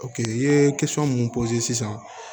i ye mun sisan